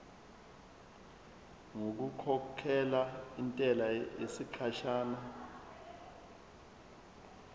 ngokukhokhela intela yesikhashana